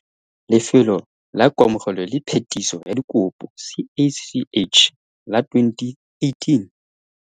Lefelo la Kamogelo le Phetiso ya Dikopo, CACH, la 2018